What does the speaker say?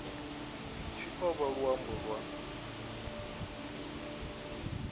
tshi o vha luambo lwa